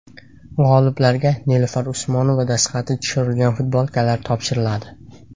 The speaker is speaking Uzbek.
G‘oliblarga Nilufar Usmonova dastxati tushirilgan futbolkalar topshiriladi.